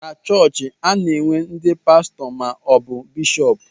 Na chọọchị, a na-enwe n'di pastọ ma ọ bụ bishọp.